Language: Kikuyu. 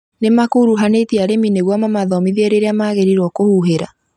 Nĩmakuruhanĩtie arĩmi nĩguo mamateithia kũmathomithia rĩrĩa magĩrĩirwo nĩ kũhuhĩra